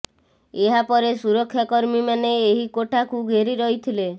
ଏହା ପରେ ସୁରକ୍ଷା କର୍ମୀମାନେ ଏହି କୋଠାକୁ ଘେରି ଯାଇଥିଲେ